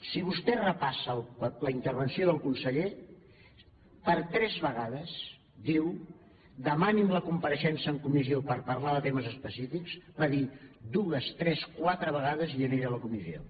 si vostè repassa la intervenció del conseller per tres vegades diu demani’m la compareixença en comissió per parlar de temes específics va dir dues tres quatre vegades i jo aniré a la comissió